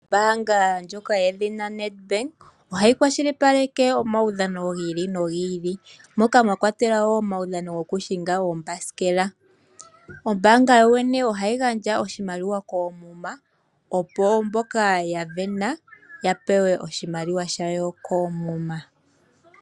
Ombaanga ndjoka yedhina Ned bank ohayi kwashilipaleke omaudhano gi ili nogi ili moka mwa kwatelwa wo omaudhano gokushinga oombasikela, ombaanga yo yene oha yi gandja oshimaliwa koomuma opo mboka ya sindana ya pewe oshimaliwa sha wo koomuma.